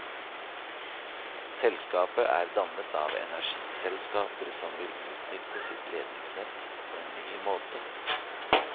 Selskapet er dannet av energiselskaper, som vil utnytte sitt ledningsnett på en ny måte.